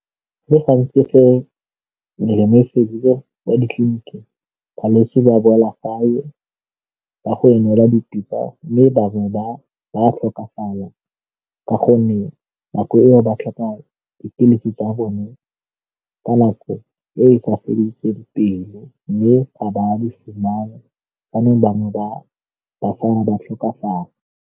Go le gantsi fa melemo e fedile kwa ditleliniking balwetse ba boela gae ba go emela mme bangwe ba tlhokafala ka gonne nako eo ba tlhoka dipilisi tsa bone ka nako e ba feletseng mme a ba di fumana bangwe ba tlhokafala.